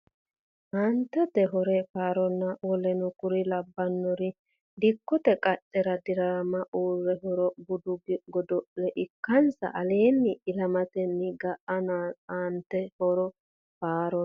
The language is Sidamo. Aantete hore faaronna woluno kuri labbannori dikkote qaccera dirame uurre hore budu godo le ikkansa aleenni ilamatenni ga nanno Aantete hore faaronna.